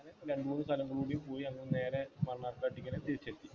രണ്ടുമൂന്ന് സ്ഥലങ്ങളും കൂടിപ്പോയി. പിന്നെ നേരെ അങ്ങനെ മണ്ണാർക്കാടേക്ക് തന്നെ തിരിച്ചെത്തി.